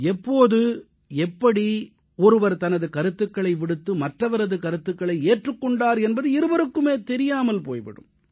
எப்போது எப்படி ஒருவர் தனது கருத்துகளை விடுத்து மற்றவரது கருத்துகளை ஏற்றுக் கொண்டார் என்பது இருவருக்குமே தெரியாமல் போய் விடும்